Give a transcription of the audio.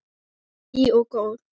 Hlý og góð.